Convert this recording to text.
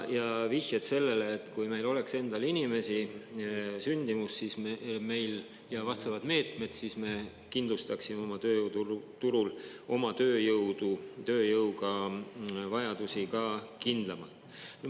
Ja vihjed sellele, et kui meil oleks endal inimesi, sündimus ja vastavad meetmed, siis me kindlustaksime oma tööjõuturul oma tööjõudu, tööjõuga vajadusi ka kindlamalt.